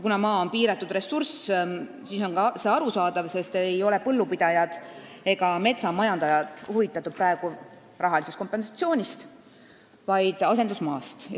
Kuna maa on piiratud ressurss, siis on arusaadav, et põllupidajad ega metsamajandajad ei ole huvitatud rahalisest kompensatsioonist, vaid asendusmaast.